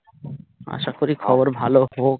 আশা করি খবর ভালো হোক